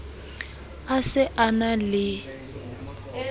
a se a na le